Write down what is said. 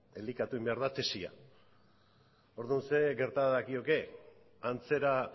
elikatu egin behar da tesia orduan zer gerta dakioke antzera